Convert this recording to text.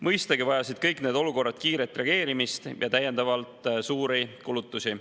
Mõistagi vajasid kõik need olukorrad kiiret reageerimist ja täiendavalt suuri kulutusi.